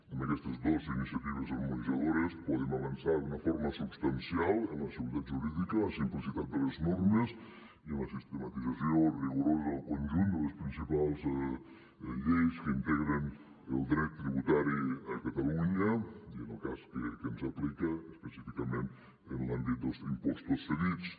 amb aquestes dos iniciatives harmonitzadores podem avançar d’una forma substancial en la seguretat jurídica en la simplicitat de les normes i en la sistematització rigorosa del conjunt de les principals lleis que integren el dret tributari a catalunya i en el cas que ens aplica específicament en l’àmbit dels impostos cedits